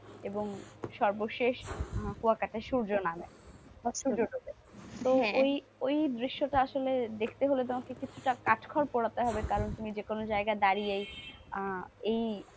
এবং সর্বশেষ কুয়াকাটায় সূর্য নামে বা সূর্য ডুবে তো ওই দৃশ্যটা আসলে দেখতে হলে তোমাকে কিছুটা কাট খড় পোড়াতে হবে কারণ তুমি যে কোন জায়গায় দাঁড়িয়ে আহ এই,